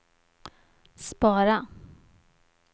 spara